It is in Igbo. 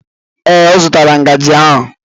Ee, ọ zụtala ngaji ahụ